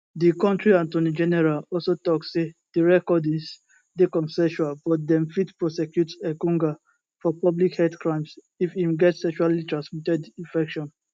di kontri attorney general also tok say di recordings dey consensual but dem fit prosecute engonga for public health crimes if im get sexuallytransmitted infection